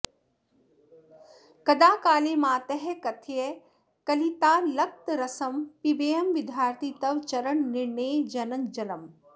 कदा काले मातः कथय कलितालक्तकरसं पिबेयं विद्यार्थी तव चरणनिर्णेजनजलम्